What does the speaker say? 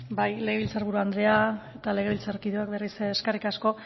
bai legebiltzar buru andrea eta legebiltzarkideok berriz ere eskerrik asko